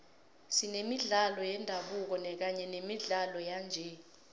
senemidlalo yendabuko kanye nemidlalo yanje